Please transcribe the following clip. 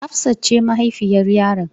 Hafsat ce mahaifiyar yaron.